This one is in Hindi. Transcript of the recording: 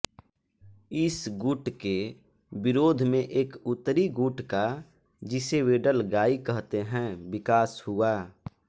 इस गुट के विरोध में एक उत्तरी गुट का जिसे वेडगलाई कहते हैं विकास हुआ